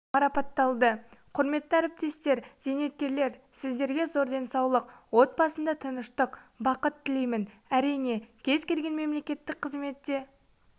марапатталды құрметті әріптестер зейнеткерлер сіздерге зор денсаулық отбасында тыныштық бақыт тілеймін әрине кез-келген мемлекеттік қызметте